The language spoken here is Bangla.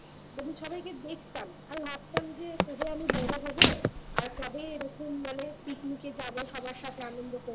তবে সবাইকে দেখতাম আর ভাবতাম যে কবে আমি বড়ো হব আর কবে এরকম মানে picnic এ যাবো সবার সাথে আনন্দ করবো